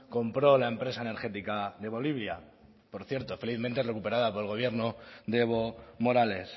compró la empresa energética de bolivia por cierto felizmente recuperada por el gobierno de evo morales